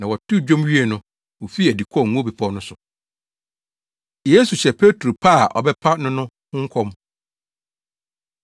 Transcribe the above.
Na wɔtoo dwom wiee no, wofii adi kɔɔ Ngo Bepɔw no so. Yesu Hyɛ Petro Pa A Ɔbɛpa No No Ho Nkɔm